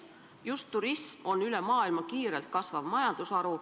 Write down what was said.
Just turism on üle maailma kiirelt kasvav majandusharu.